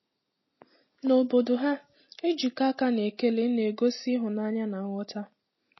Na obodo ha, ijikọ aka na ekele na-egosi ịhụnanya na nghọta.